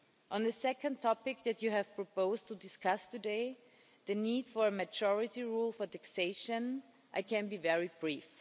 On the second topic that you have proposed to discuss today the need for a majority rule for taxation I can be very brief.